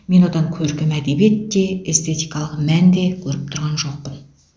мен одан көркем әдебиет те эстетикалық мән де көріп тұрған жоқпын